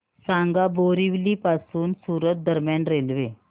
सांगा बोरिवली पासून सूरत दरम्यान रेल्वे